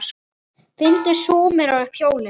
Fundu Súmerar upp hjólið?